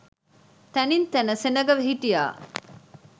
තැනින් තැන සෙනග හිටියා.